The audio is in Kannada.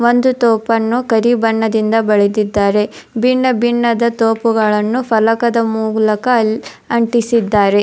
ಒಂದು ತೋಪನ್ನು ಕರಿ ಬಣ್ಣದಿಂದ ಬಳಿದಿದ್ದಾರೆ ಬಿನ್ನ ಬಿನ್ನ ದ ತೋಪುಗಳನ್ನು ಫಲಕದ ಮೂಲಕ ಅಂಟಿಸಿದ್ದಾರೆ.